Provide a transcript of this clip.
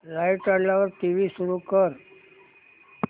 light आल्यावर TV सुरू कर